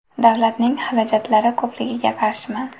Davlatning xarajatlari ko‘pligiga qarshiman.